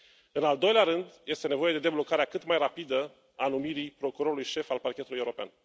În al doilea rând, este nevoie de deblocarea cât mai rapidă a numirii procurorului șef al Parchetului European.